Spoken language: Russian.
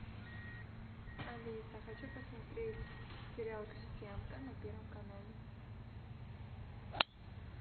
алиса хочу посмотреть сериал крестьянка на первом канале